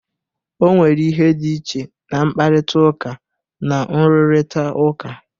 O nwere ihe dị iche na mkparịta ụka na nrụrịta ụka.